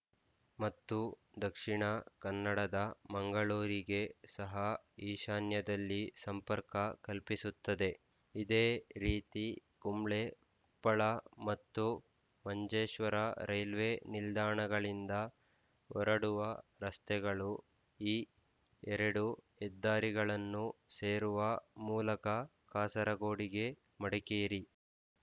ಮತ್ತು ದಕ್ಷಿಣ ಕನ್ನಡದ ಮಂಗಳೂರಿಗೆ ಸಹ ಈಶಾನ್ಯದಲ್ಲಿ ಸಂಪರ್ಕ ಕಲ್ಪಿಸುತ್ತದೆ ಇದೇ ರೀತಿ ಕುಂಬ್ಳೆ ಉಪ್ಪಳ ಮತ್ತು ಮಂಜೇಶ್ವರ ರೈಲ್ವೆ ನಿಲ್ದಾಣಗಳಿಂದ ಹೊರಡುವ ರಸ್ತೆಗಳು ಈ ಎರಡು ಹೆದಾರಿಗಳನ್ನು ಸೇರುವ ಮೂಲಕ ಕಾಸರಗೋಡಿಗೆ ಮಡಿಕೇರಿ